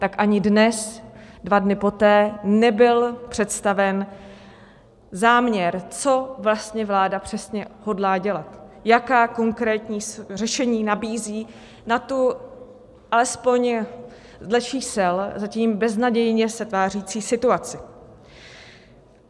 Tak ani dnes, dva dny poté, nebyl představen záměr, co vlastně vláda přesně hodlá dělat, jaká konkrétní řešení nabízí na tu - alespoň dle čísel - zatím beznadějně se tvářící situaci.